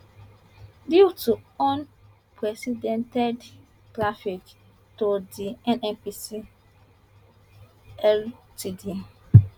due to unprecedented traffic to di nnpc ltd